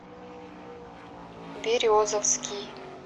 березовский